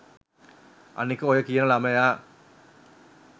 අනික ඔය කියන ලමයා